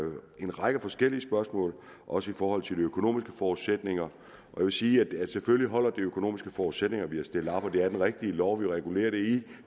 en række forskellige spørgsmål også i forhold til de økonomiske forudsætninger jeg vil sige at selvfølgelig holder de økonomiske forudsætninger vi har stillet op og det er den rigtige lov vi regulerer det i